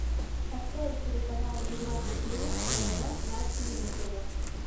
открой телеканал европа плюс тв на телевизоре